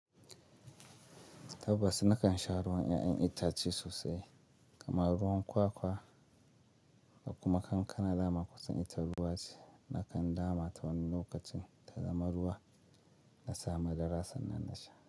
Tabbas nakan sha ruwan 'ya'yan itace sosai kamar ruwan kwakwa, kuma kankana dama kusan ita ruwa ce. Nakan dama ta wani lokacin ta zama ruwa na sami darasan nan na sha.